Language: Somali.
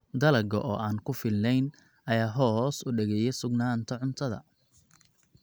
Dalagga oo aan ku filnayn ayaa hoos u dhigaya sugnaanta cuntada.